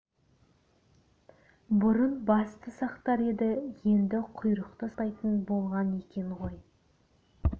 бұрын басты сақтар еді енді құйрықты сақтайтын болған екен ғой